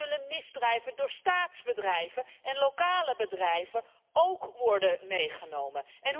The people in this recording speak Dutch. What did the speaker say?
En zullen misdrijven door staatsbedrijven en lokale bedrijven ook worden meegenomen?